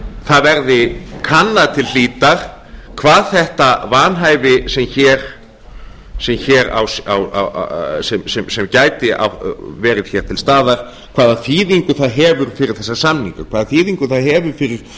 það verði kannað til hlítar hvað þetta vanhæfi sem gæti verið hér til staðar hvaða þýðingu það hefur fyrir þessa samninga hvaða þýðingu á hefur fyrir